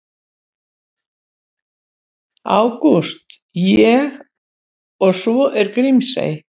Ágúst: Og svo er Grímsey.